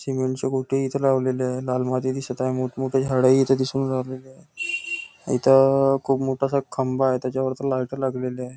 Cement चे गोपे इथे लावलेली आहे लाल माती दिसत आहे मोठ मोठी झाडं इथं दिसून राहिलेले आहे इथ खूप मोठा असा खंबा आहे त्याच्यावर लाइट लागलेली आहे.